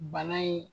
Bana in